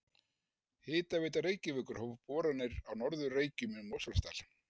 Hitaveita Reykjavíkur hóf boranir á Norður Reykjum í Mosfellsdal.